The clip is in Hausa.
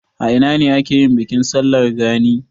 A ina ne ake yin bikin sallar gani?